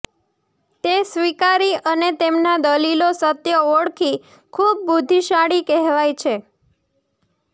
તે સ્વીકારી અને તેમના દલીલો સત્ય ઓળખી ખૂબ બુદ્ધિશાળી કેહવાય છે